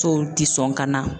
ti sɔn ka na.